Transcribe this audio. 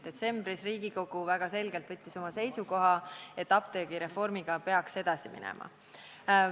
Detsembris võttis Riigikogu väga selgelt seisukoha, et apteegireformiga peaks edasi minema.